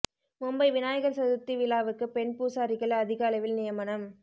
மும்பை விநாயகர் சதுர்த்தி விழாவுக்கு பெண் பூசாரிகள் அதிக அளவில் நியமனம்